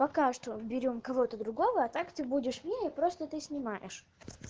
пока что берём кого-то другого а так ты будешь мне и просто ты снимаешь